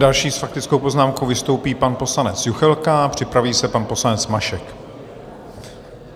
Další s faktickou poznámkou vystoupí pan poslanec Juchelka a připraví se pan poslanec Mašek.